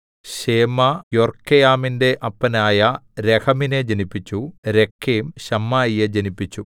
ശേമാ യൊർക്കെയാമിന്റെ അപ്പനായ രഹമിനെ ജനിപ്പിച്ചു രേക്കെം ശമ്മായിയെ ജനിപ്പിച്ചു